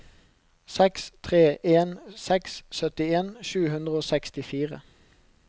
seks tre en seks syttien sju hundre og sekstifire